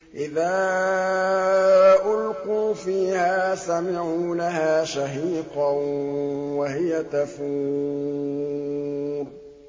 إِذَا أُلْقُوا فِيهَا سَمِعُوا لَهَا شَهِيقًا وَهِيَ تَفُورُ